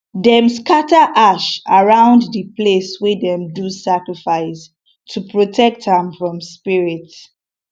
dem scatter ash around di place wey dem do sacrifice to protect am from spirit